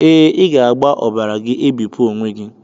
Ee, ị ga-agba ọbara gị ebipụ onwe gị.